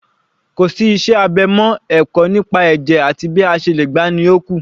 Kò sí iṣẹ́ abẹ mọ́, ẹ̀kọ́ nípa ẹ̀jẹ̀ àti bí a ṣe lè gbà á ni ó kù